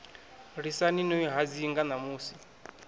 lisani no i hadzinga ṋamusi